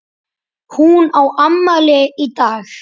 Hún á afmæli í dag.